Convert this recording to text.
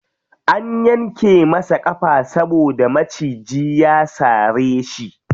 An yanke masa ƙafa saboda maciji ya sare shi.